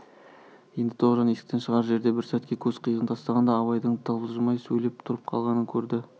енді тоғжан есіктен шығар жерде бір сәтке көз қиығын тастағанда абайдың тапжылмай сілейіп тұрып қалғанын көрді